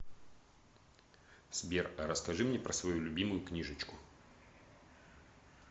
сбер а расскажи мне про свою любимую книжечку